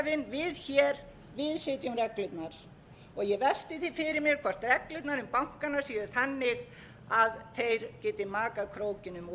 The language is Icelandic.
við hér við setjum reglurnar og ég velti fyrir mér hvort reglurnar um bankana séu þannig að þeir geti makað krókinn um of nú fer